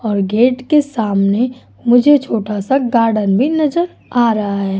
और गेट के सामने मुझे छोटा सा गार्डन भी नजर आ रहा है।